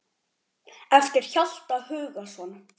eftir Hjalta Hugason